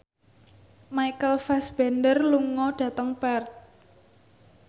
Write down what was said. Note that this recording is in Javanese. Michael Fassbender lunga dhateng Perth